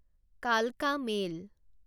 কালকা মেইল